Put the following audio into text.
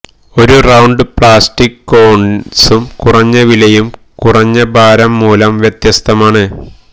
ഒരു round plastic കോണിസും കുറഞ്ഞ വിലയും കുറഞ്ഞ ഭാരം മൂലം വ്യത്യസ്തമാണ്